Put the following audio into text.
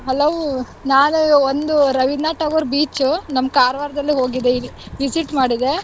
Hello ನಾನು ಒಂದು Rabindranath Tagore beach ನಮ್ ಕಾರ್ವಾರ್ ದಲ್ಲಿ ಹೋಗಿದ್ದೆ, visit ಮಾಡಿದ್ದೆ.